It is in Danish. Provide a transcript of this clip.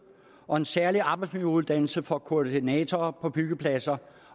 og en særlig arbejdsmiljøuddannelse for koordinatorer på byggepladser